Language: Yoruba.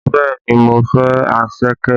Bẹẹ ni, mo fẹ́ anṣẹ̀kẹ́